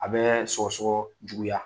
A bɛ sɔgɔsɔgɔ juguya.